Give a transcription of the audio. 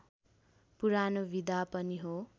पुरानो विधा पनि हो